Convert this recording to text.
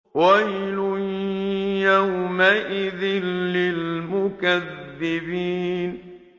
وَيْلٌ يَوْمَئِذٍ لِّلْمُكَذِّبِينَ